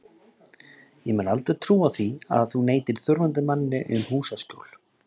Ég mun aldrei trúa því að þú neitir þurfandi manni um húsaskjól.